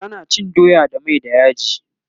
tana cin doya da mai da yaji